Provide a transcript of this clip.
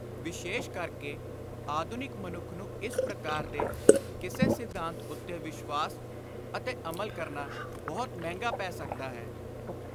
ਵਿਸ਼ੇਸ਼ ਕਰਕੇ ਆਧੁਨਿਕ ਮਨੁੱਖ ਨੂੰ ਇਸ ਪ੍ਰਕਾਰ ਦੇ ਕਿਸੇ ਸਿਧਾਂਤ ਉੱਤੇ ਵਿਸ਼ਵਾਸ ਅਤੇ ਅਮਲ ਕਰਨਾ ਬਹੁਤ ਮਹਿੰਗਾ ਪੈ ਸਕਦਾ ਹੈ।